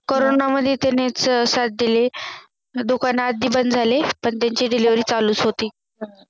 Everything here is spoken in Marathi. Corona मध्ये त्यांनीच साथ दिली दुकान आधी बंद झाले पण त्यांची Delivery चालूच होती